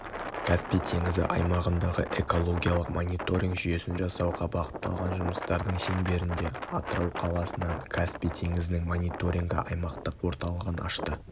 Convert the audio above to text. каспий теңізі аймағындағы экологиялық мониторинг жүйесін жасауға бағытталған жұмыстардың шеңберінде атырау қаласынан каспий теңізінің мониторингі аймақтық орталығын ашты